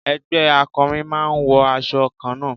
Ẹgbẹ́ akọrin máa ń wọ aṣọ kanna.